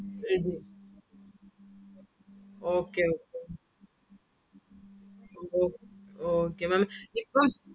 ready ആവും. okay okay Maám ഇപ്പം